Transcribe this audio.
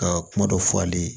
Ka kuma dɔ fɔ ale ye